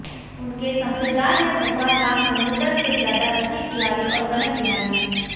उनके संप्रदाय में भगवान राम धनुर्धर से ज़्यादा रसिक बिहारी और कनक बिहारी हैं